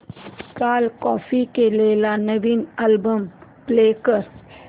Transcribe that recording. काल कॉपी केलेला नवीन अल्बम प्ले कर